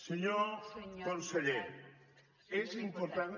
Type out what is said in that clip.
senyor conseller és important